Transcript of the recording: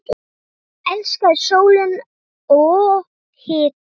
Hún elskaði sólina og hitann.